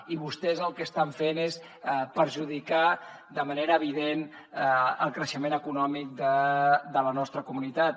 i vostès el que estan fent és perjudicar de manera evident el creixement econòmic de la nostra comunitat